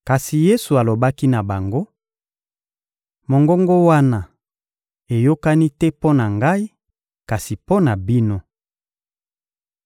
Kasi Yesu alobaki na bango: — Mongongo wana eyokani te mpo na Ngai, kasi mpo na bino.